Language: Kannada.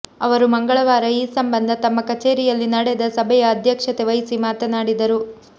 ಅವರು ಮಂಗಳವಾರ ಈ ಸಂಬಂಧ ತಮ್ಮ ಕಚೇರಿಯಲ್ಲಿ ನಡೆದ ಸಭೆಯ ಅಧ್ಯಕ್ಷತೆ ವಹಿಸಿ ಮಾತನಾ ಡಿದರು